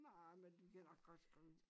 Nej men du kan nok godt skrive